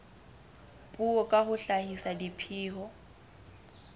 puo ka ho hlahisa dipheo